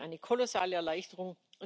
das wäre eine kolossale Erleichterung.